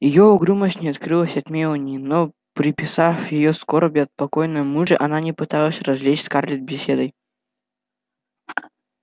её угрюмость не укрылась от мелани но приписав её скорби о покойном муже она не пыталась развлечь скарлетт беседой